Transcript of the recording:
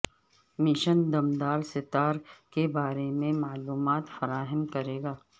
mission دم دار ستار کے بارے میں معلومات فراہم کرے گا